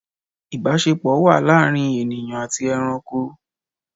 Ìbásepọ̀ wà láàrin ènìyàn àti eranko